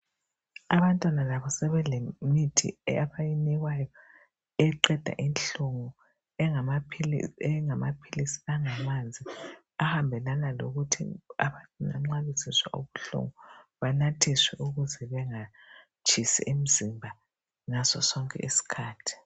Abantwana labo sebelemithi abayinikwayo eqeda inhlungu engamaphilisi angamanzi ahambelana lokuthi abantwana nxa bezizwa ubuhlungu , banathiswe ukuze bengatshisi umzimba ngaso sonke isikhathi.